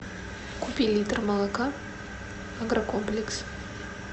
купи литр молока агрокомплекс